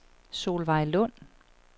Solveig Lund